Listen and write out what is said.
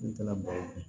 N taara baro